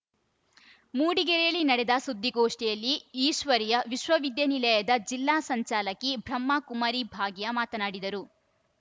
ಮೂಡಿಗೆರೆಯಲ್ಲಿ ನಡೆದ ಸುದ್ದಿಗೋಷ್ಠಿಯಲ್ಲಿ ಈಶ್ವರೀಯ ವಿಶ್ವವಿದ್ಯಾಲಯ ಜಿಲ್ಲಾ ಸಂಚಾಲಕಿ ಬ್ರಹ್ಮಕುಮಾರಿ ಭಾಗ್ಯ ಮಾತನಾಡಿದರು